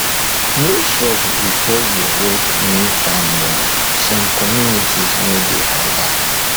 no chop before you work new farmland some communities no dey allow